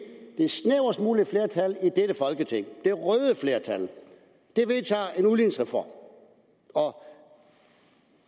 det snævrest mulige flertal i dette folketing det røde flertal vedtager en udligningsreform